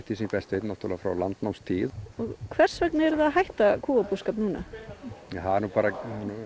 sem ég best veit frá landnámstíð hvers vegna eruð þið að hætta kúabúskap núna það er nú bara